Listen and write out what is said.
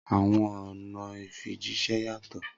Awọn ọna ifijiṣẹ yatọ.